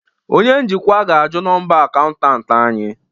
Onye njikwa ga-ajụ nọmba akaụntụ anyị